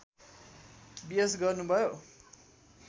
BS गर्नुभयो